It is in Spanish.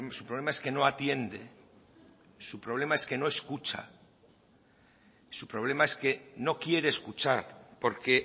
su problema es que no atiende su problema es que no escucha su problema es que no quiere escuchar porque